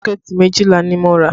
Sọ́kẹ̀tì méjìlá ni mo rà